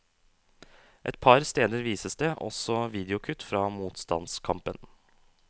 Et par steder vises det også videokutt fra motstandskampen.